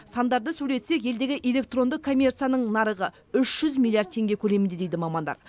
сандарды сөйлетсек елдегі электронды коммерцияның нарығы үш жүз миллиард теңге көлемінде дейді мамандар